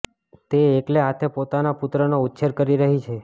તે એકલે હાથે પોતાના પુત્રનો ઉછેર કરી રહી છે